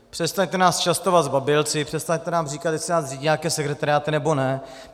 Přestaňte nás častovat zbabělci, přestaňte nám říkat, jestli nás řídí nějaké sekretariáty, nebo ne.